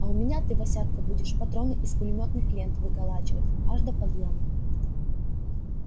а у меня ты васятка будешь патроны из пулемётных лент выколачивать аж до подъёма